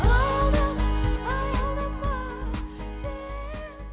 аялдама аялдама сен